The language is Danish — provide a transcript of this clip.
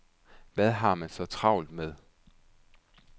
Hvad har man så travlt med?